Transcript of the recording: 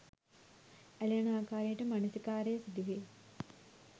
ඇලෙන ආකාරයට මනසිකාරය සිදුවේ.